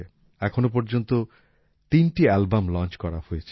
এখনো পর্যন্ত তিনটি অ্যালবাম লঞ্চ করা হয়ে গিয়েছে